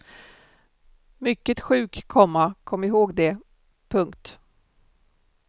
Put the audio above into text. Mycket sjuk, komma kom ihåg det. punkt